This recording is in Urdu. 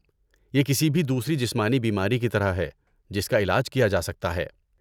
یہ کسی بھی دوسری جسمانی بیماری کی طرح ہے جس کا علاج کیا جا سکتا ہے۔